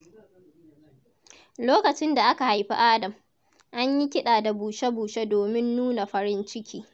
Lokacin da aka haifi Adam, an yi kida da bushe-bushe domin nuna farin ciki.